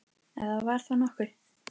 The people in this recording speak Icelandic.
Ef það var þá nokkuð.